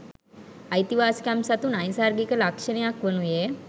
අයිතිවාසිකම් සතු නෛසර්ගික ලක්ෂණයක් වනුයේ